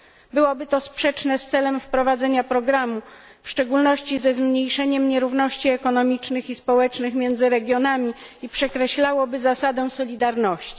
Byłoby to sprzeczne z celem wprowadzenia programu, w szczególności ze zmniejszeniem nierówności ekonomicznych i społecznych między regionami, i przekreślałoby zasadę solidarności.